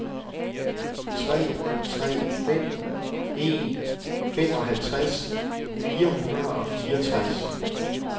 tre tre fem en femoghalvtreds fire hundrede og fireogtres